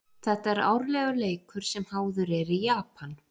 Þetta er árlegur leikur sem háður er í Japan.